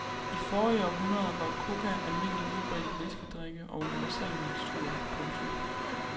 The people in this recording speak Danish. I forrige århundrede var coca almindelig udbredt i læskedrikke og universalmiksturer. punktum